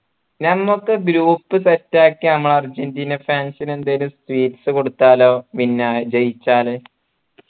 ഞമ്മുക്ക് group set ആക്കി നമ്മളെ അർജൻറീന fans ന് എന്തേലും sweets കൊടുത്താലോ പിന്നെ ജയിച്ചാൽ